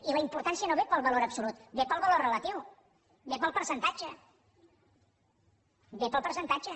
i la importància no ve pel valor absolut ve pel valor relatiu ve pel percentatge ve pel percentatge